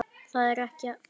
Það er ekki falt